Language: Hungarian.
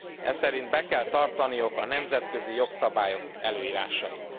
Eszerint be kell tartaniuk a nemzetközi jogszabályok előírásait.